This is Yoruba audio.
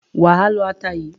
Wà á lọ ata yìí.